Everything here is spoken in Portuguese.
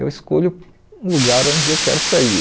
Eu escolho um lugar onde eu quero sair.